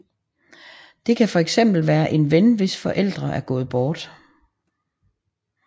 Det kan fx være en ven hvis forældre er gået bort